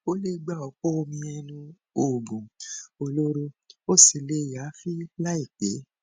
o lè gba ọpọ omi ẹnu oògùn olóró ó sì lè yááfì láìpẹ